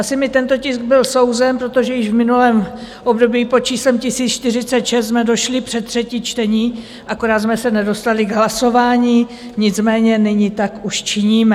Asi mi tento tisk byl souzen, protože již v minulém období pod číslem 1046 jsme došli před třetí čtení, akorát jsme se nedostali k hlasování, nicméně nyní tak už činíme.